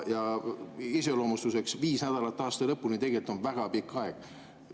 Ja iseloomustuseks: viis nädalat aasta lõpuni on tegelikult väga pikk aeg.